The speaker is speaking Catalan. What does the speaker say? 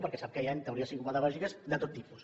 perquè sap que hi ha teories psicopedagògiques de tot tipus